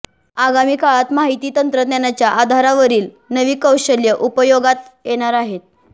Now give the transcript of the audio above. आगामी काळात माहिती तंत्रज्ञानाच्या आधारावरील नवी कौशल्य उपयोगात येणार आहेत